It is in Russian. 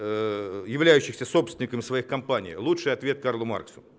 э являющихся собственниками своих компаний лучший ответ карл маркс